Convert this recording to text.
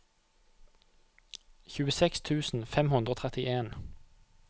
tjueseks tusen fem hundre og trettien